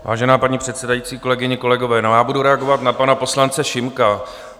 Vážená paní předsedající, kolegyně, kolegové, já budu reagovat na pana poslance Šimka.